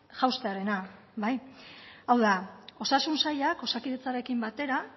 jaustearena hau da osasun sailak osakidetzarekin batera